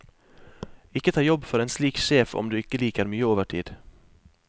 Ikke ta jobb for en slik sjef om du ikke liker mye overtid.